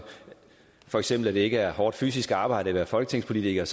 for eksempel ikke er hårdt fysisk arbejde at være folketingspolitiker